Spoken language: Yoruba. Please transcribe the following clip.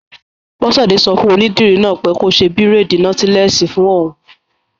Bọ́sẹ̀dé sọ fún onídìrí náà pé kó ṣe bírèèdì nọ́tílẹ́ẹ̀sì fún òun